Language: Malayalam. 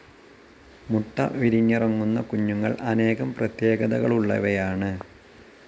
മുട്ട വിരിഞ്ഞിറങ്ങുന്ന കുഞ്ഞുങ്ങൾ അനേകം പ്രത്യേകതകളുള്ളവയാണ്.